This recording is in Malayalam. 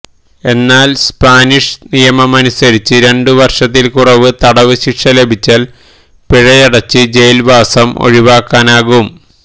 എന്നാല് സ്പാനിഷ് നിയമമനുസരിച്ച് രണ്ടു വര്ഷത്തില് കുറവ് തടവുശിക്ഷ ലഭിച്ചാല് പിഴയടച്ച് ജയില് വാസം ഒഴിവാക്കാനാകും